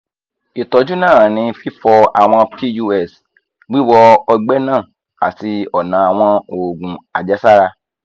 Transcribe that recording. ìtọ́jú náà ní fífọ àwọn nineteen seventy nine pus nineteen seventy nine wíwọ ọgbẹ́ náà àti ọ̀nà àwọn oògùn àjẹsára